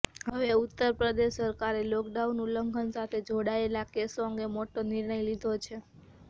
હવે ઉત્તર પ્રદેશ સરકારે લોકડાઉન ઉલ્લંઘન સાથે જોડાયેલા કેસો અંગે મોટો નિર્ણય લીધો છે